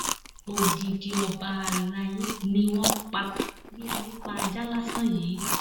odidi ọba alay ni wọn pa bíi ẹni pa ajá lásán yìí